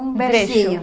Um versinho.